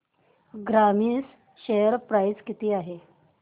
Grasim share price किती आहे